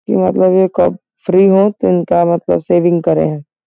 यह मतलब यह कब फ्री हो तो इनका मतलब सेविंग करे हे।